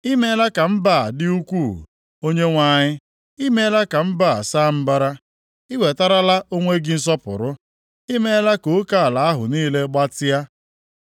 I meela ka mba a dị ukwuu, Onyenwe anyị; i meela ka mba a saa mbara. I wetarala onwe gị nsọpụrụ, i meela ka oke ala ahụ niile gbatịa.